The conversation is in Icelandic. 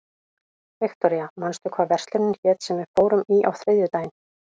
Viktoria, manstu hvað verslunin hét sem við fórum í á þriðjudaginn?